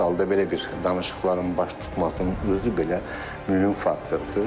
Hər halda belə bir danışıqların baş tutmasının özü belə mühüm faktordur.